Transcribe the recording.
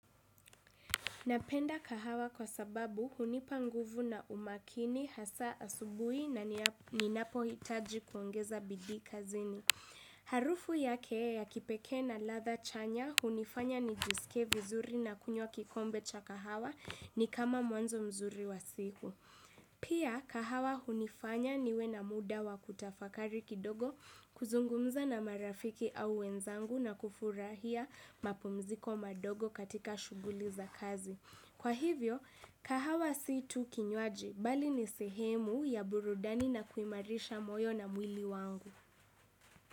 Napenda kahawa kwa sababu hunipa nguvu na umakini hasa asubuhi na ninapo hitaji kuongeza bidii kazini. Harufu yake ya kipekee na ladha chanya hunifanya nijisike vizuri na kunywa kikombe cha kahawa ni kama mwanzo mzuri wa siku. Pia kahawa hunifanya niwe na muda wa kutafakari kidogo kuzungumza na marafiki au wenzangu na kufurahia mapumziko madogo katika shughuli za kazi. Kwa hivyo kahawa si tu kinywaji bali ni sehemu ya burudani na kuimarisha moyo na mwili wangu.